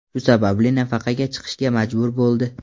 Shu sababli nafaqaga chiqishga majbur bo‘ldi.